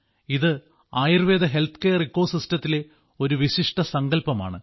ഇത് ആയുർവേദ ഹെൽത്ത്കെയർ ഇക്കോ സിസ്റ്റത്തിലെ ഒരു വിശിഷ്ട സങ്കല്പമാണ്